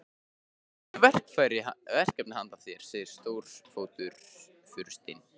Ég hef verkefni handa þér segir Stórfurstinn.